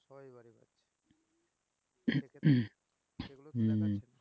হম